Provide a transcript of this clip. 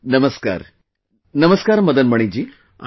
Namaskar... Namaskar Madan Mani ji